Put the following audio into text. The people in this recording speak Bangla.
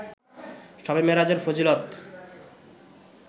শবে মেরাজের ফজিলত